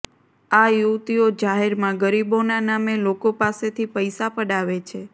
આ યુવતીઓ જાહેરમાં ગરીબોના નામે લોકો પાસેથી પૈસા પડાવે છે